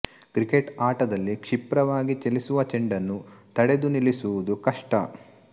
cricket ಆಟದಲ್ಲಿ ಕ್ಷಿಪ್ರವಾಗಿ ಚಲಿಸುವ ಚೆಂಡನ್ನು ತಡೆದು ನಿಲ್ಲಿಸುವುದು ಕಷ್ಷ